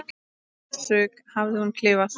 þessu hafði hún klifað.